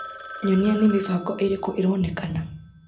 Nyonia nĩ mĩbango ĩrĩkũ ĩronekana.